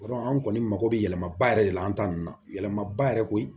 anw kɔni mako bɛ yɛlɛmaba yɛrɛ de la an ta ninnu na yɛlɛma ba yɛrɛ koyi